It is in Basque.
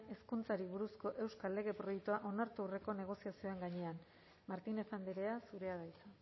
hezkuntzari buruzko euskal lege proiektua onartu aurreko negoziazioen gainean martínez andrea zurea da hitza